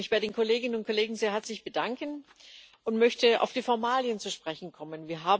Ich möchte mich bei den Kolleginnen und Kollegen sehr herzlich bedanken und möchte auf die Formalien zu sprechen kommen.